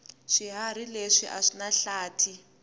swihharhi leswi aswinahlathi